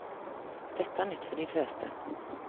Dette er nytt for de fleste.